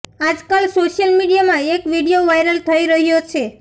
આજકાલ સોશિયલ મીડિયામાં એક વીડિયો વાઈરલ થઈ રહ્યો છે